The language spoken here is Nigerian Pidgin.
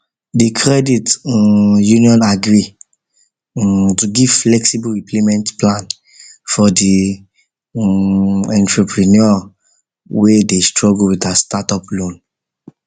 the credit um union agree um to give flexible repayment plan for the um entrepreneur wey dey struggle with her startup loan